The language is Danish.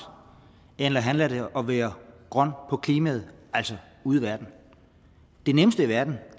eller handler det om at være grøn på klimaet altså ude i verden det nemmeste i verden